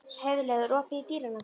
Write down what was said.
Heiðlaug, er opið í Dýralandi?